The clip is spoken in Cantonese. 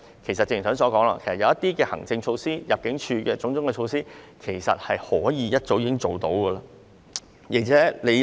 正如剛才所說，透過一些行政措施和入境措施，已經可以減輕司法機構的工作。